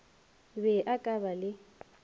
be a ka ba le